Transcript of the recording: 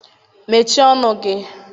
Mechie ọnụ gị!